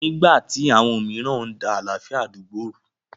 Nígbà tí àwọn mìíràn ń da àlàáfíà àdúgbò rú.